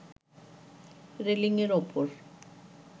রেলিংয়ের ওপর